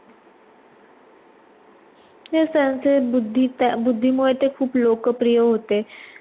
ते बुद्धीत बुद्धीमुळे ते खूप लोकप्रिय होते.